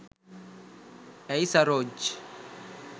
ඇයි සරෝජ්?